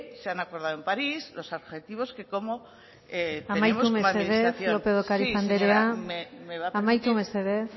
se han acordado en parís los objetivos que cómo tenemos como administración amaitu mesedez lópez de ocariz andrea sí señora me va a permitir un minuto amaitu mesedez